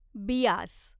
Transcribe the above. Beas